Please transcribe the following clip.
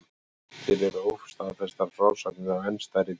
Til eru óstaðfestar frásagnir af enn stærri dýrum.